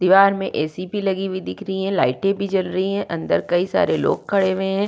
दीवार में ए.सी. भी लगी हुई दिख रही है। लाइटे भी जल रही है। अंदर कई सारे लोग खड़े हुए हैं।